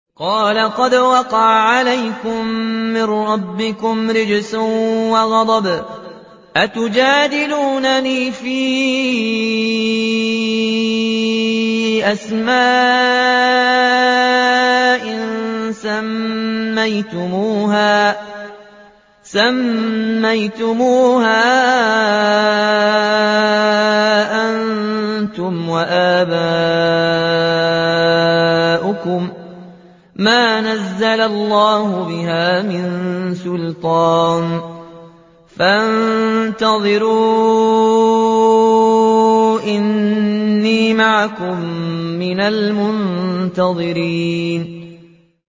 قَالَ قَدْ وَقَعَ عَلَيْكُم مِّن رَّبِّكُمْ رِجْسٌ وَغَضَبٌ ۖ أَتُجَادِلُونَنِي فِي أَسْمَاءٍ سَمَّيْتُمُوهَا أَنتُمْ وَآبَاؤُكُم مَّا نَزَّلَ اللَّهُ بِهَا مِن سُلْطَانٍ ۚ فَانتَظِرُوا إِنِّي مَعَكُم مِّنَ الْمُنتَظِرِينَ